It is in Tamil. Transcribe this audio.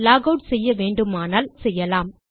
லாக் ஆட் செய்ய வேண்டுமானால் லாக் ஆட் செய்யலாம்